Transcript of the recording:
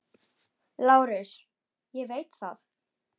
LÁRUS: Ég veit það.